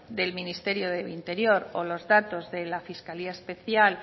del ministerio del interior o los datos de la fiscalía especial